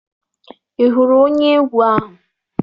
Ị hụrụ onye egwu ahụ?